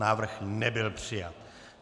Návrh nebyl přijat.